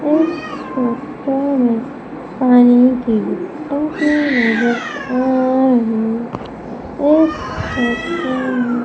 इस फोटो में पानी की टंकी नजर आ रही है इस फोटो में --